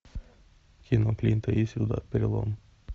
кино клинта иствуда перелом